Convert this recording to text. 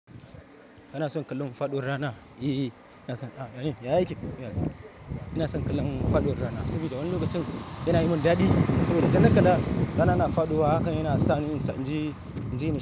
Kana son kallon faɗuwar rana? Eee, ina son, ah, ya yi kyau. Ina son kallon faɗuwar rana saboda wani lokacin yana yi min daɗi. Saboda idan na kalla rana na faɗuwa hakan yana sa ni in so in je, in je.